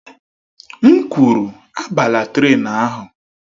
M kwuru, abala trén ahụ!